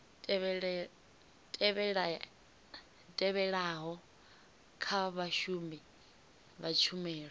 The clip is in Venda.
tevhelaho kha vhashumi vha tshumelo